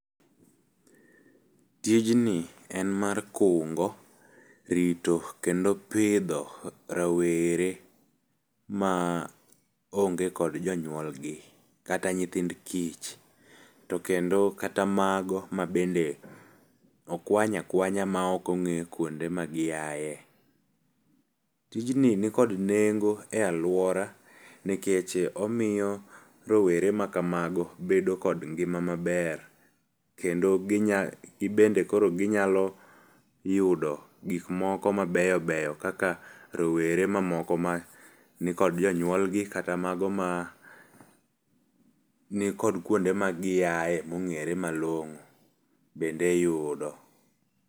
Tijni en mar kungo rito kendo pidho rawere ma onge kod jonyuolgi kata nyithind kich to kendo kata mago ma bende okwany akwanya ma ok ong'e kuonde ma giae. Tijni nikod nengo e aluora nikech omiyo rowere ma kamago bedo kod ngima maber kendo, ginya gibende ginyalo yudo gik moko mabeyo beyo kaka rowere mamoko manikod jonyuolgi kata mago manikod kama giae mong'ere malong'o bende yudo.